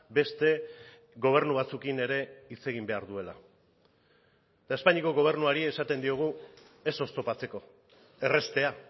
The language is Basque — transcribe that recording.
beste gobernu batzuekin ere hitz egin behar duela eta espainiako gobernuari esaten diogu ez oztopatzeko erraztea